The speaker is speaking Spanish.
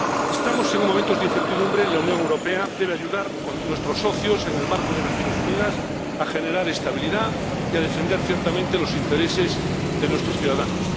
Estamos en momentos de incertidumbre y la Unión Europea debe contribuir con nuestros socios, en el marco de las Naciones Unidas, a generar estabilidad y a defender ciertamente los intereses de nuestros ciudadanos.